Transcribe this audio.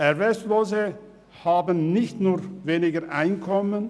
Erwerbslose haben nicht nur weniger Einkommen;